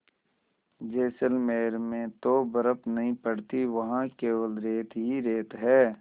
जैसलमेर में तो बर्फ़ नहीं पड़ती वहाँ केवल रेत ही रेत है